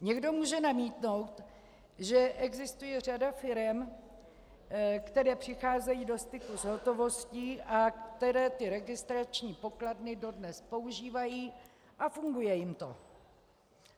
Někdo může namítnout, že existuje řada firem, které přicházejí do styku s hotovostí a které ty registrační pokladny dodnes používají a funguje jim to.